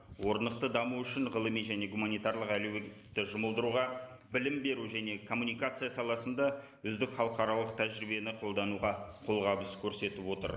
орнықты даму үшін ғылыми және гуманитарлық жұмылдыруға білім беру және коммуникация саласында үздік халықаралық тәжірибені қолдануға қолғабыс көрсетіп отыр